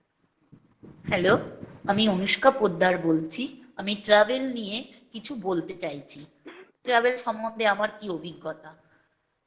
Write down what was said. Hello আমি অনুষ্কা পোদ্দার বলছি, আমি travel নিয়ে কিছু বলতে চাইছি। travel সম্বন্ধে আমার কী অভিজ্ঞতা?